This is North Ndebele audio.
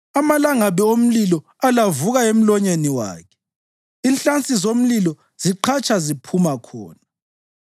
Amalangabi omlilo alavuka emlonyeni wakhe; inhlansi zomlilo ziqhatsha ziphuma khona.